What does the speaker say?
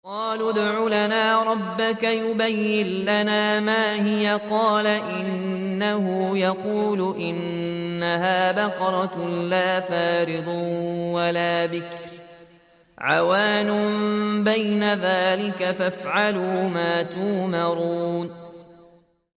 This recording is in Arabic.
قَالُوا ادْعُ لَنَا رَبَّكَ يُبَيِّن لَّنَا مَا هِيَ ۚ قَالَ إِنَّهُ يَقُولُ إِنَّهَا بَقَرَةٌ لَّا فَارِضٌ وَلَا بِكْرٌ عَوَانٌ بَيْنَ ذَٰلِكَ ۖ فَافْعَلُوا مَا تُؤْمَرُونَ